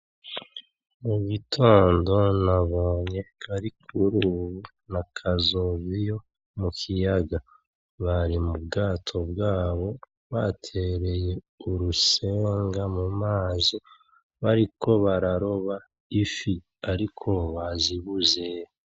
Mu gitondo nabonye Karikurubu na Kazoviyo mu kiyaga, bari mu bwato bwabo batereye urushenga mu mazi bariko bararoba ifi ariko bazibuze.